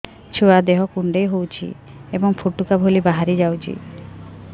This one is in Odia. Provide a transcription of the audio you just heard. ଛୁଆ ଦେହ କୁଣ୍ଡେଇ ହଉଛି ଏବଂ ଫୁଟୁକା ଭଳି ବାହାରିଯାଉଛି